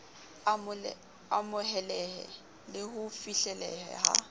amohelehe le ho fihleleha ha